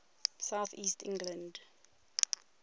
south east england